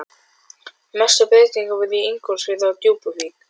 Mestu breytingarnar voru í Ingólfsfirði og Djúpuvík.